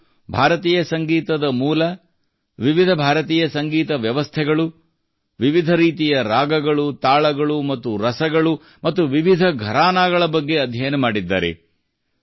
ಅವರು ಭಾರತೀಯ ಸಂಗೀತದ ಮೂಲ ವಿವಿಧ ಭಾರತೀಯ ಸಂಗೀತ ವ್ಯವಸ್ಥೆಗಳು ವಿವಿಧ ರೀತಿಯ ರಾಗಗಳು ತಾಳಗಳು ಮತ್ತು ರಸಗಳು ಮತ್ತು ವಿವಿಧ ಘರಾನಾಗಳ ಬಗ್ಗೆ ಅಧ್ಯಯನ ಮಾಡಿದ್ದಾರೆ